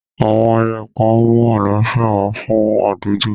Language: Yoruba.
Àwọn ayẹyẹ kan mú àlàáfíà wá fún àdúgbò.